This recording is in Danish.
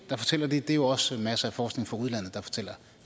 der fortæller det det er jo også masser af forskning fra udlandet der fortæller